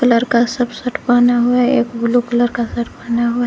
लड़का सब शर्ट पहना हुआ है एक ब्लू कलर का शर्ट पहना हुआ।